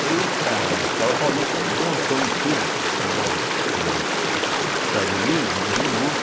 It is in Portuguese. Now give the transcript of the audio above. Aí a escola paulista montou um estudo pelo por para os Estados Unidos, né, de um grupo,